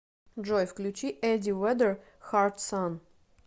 джой включи эдди веддер хард сан